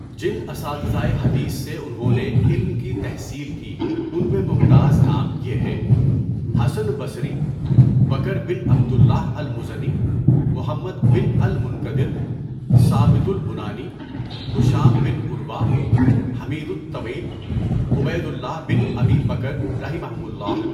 جن اساتذۂ حدیث سے انہوں نے علم کی تحصیل کی ان میں ممتاز نام یہ ہیں: حسن بصری، بکر بن عبد اللہ المُزَنِی، محمد بن الْمُنْکَدِر، ثابت البُنانِی، ہشام بن عُروہ، حمید الطویل، عبید اللہ بن ابی بکر رَحِمَھُمُ اللہُ۔